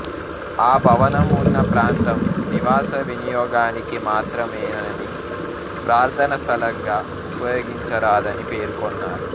ఆ భవనం ఉన్న ప్రాంతం నివాస వినియోగానికి మాత్రమేనని ప్రార్థనా స్థలంగా ఉపయోగించరాదనీ పేర్కొన్నారు